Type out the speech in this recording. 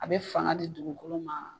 A bɛ fanga di dugukolo ma.